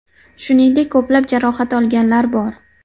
Shuningdek, ko‘plab jarohat olganlar bor.